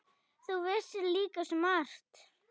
Þú vissir líka svo margt.